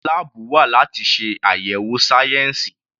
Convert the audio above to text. Àwọn láàbù wa láti ṣe àyẹ̀wò sáyẹnsì.